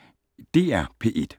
DR P1